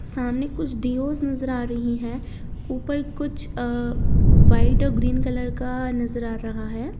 सामने कुछ डिओज नज़र आ रही है ऊपर कुछ अ व्हाइट और ग्रीन कलर का नज़र आ रहा है।